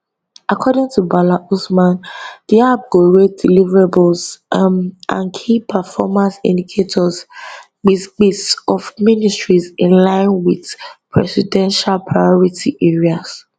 according to bala usman di app go rate deliverables um and key performance indicators kpis kpis of ministries in line wit di presidential priority areas